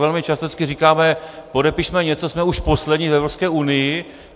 Velmi často říkáme: podepišme něco, jsme už poslední v Evropské unii.